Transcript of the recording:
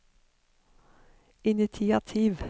initiativ